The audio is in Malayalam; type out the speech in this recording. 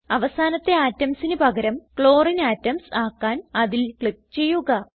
അവസാനത്തെ atomsന് പകരം ക്ലോറിനെ അറ്റോംസ് ആക്കാൻ അതിൽ ക്ലിക്ക് ചെയ്യുക